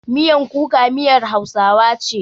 Miyan kuka miyar Hausawa ce.